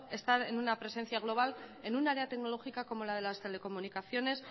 estar en una presencia global en un área tecnológica como la de las telecomunicaciones